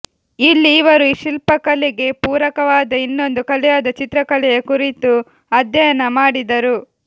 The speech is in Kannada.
ಇಲ್ಲಿ ಇವರು ಶಿಲ್ಪಕಲೆಗೆ ಪೂರಕವಾದ ಇನ್ನೊಂದು ಕಲೆಯಾದ ಚಿತ್ರಕಲೆಯ ಕುರಿತೂ ಅಧ್ಯಯನ ಮಾಡಿದರು